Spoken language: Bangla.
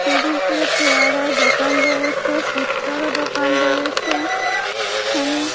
নদীর তীরে পেয়ারার দোকান রয়েছে ফুচকারও দোকান রয়েছে এখানে--